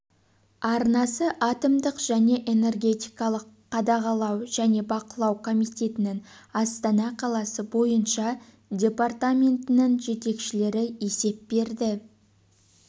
арнасы атомдық және энергетикалық қадағалау және бақылау комитетінің астана қаласы бойынша департаментінің жетекшілері есеп берді